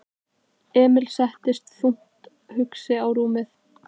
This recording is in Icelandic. Emil settist þungt hugsi á rúmið.